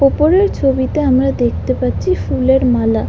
উপরের ছবিতে আমরা দেখতে পাচ্ছি ফুলের মালা।